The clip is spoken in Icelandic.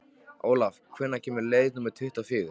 Olav, hvenær kemur leið númer tuttugu og fjögur?